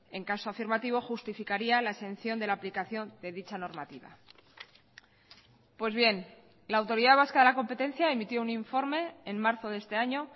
en caso afirmativo justificaría la exención de la aplicación de dicha normativa pues bien la autoridad vasca de la competencia emitió un informe en marzo de este año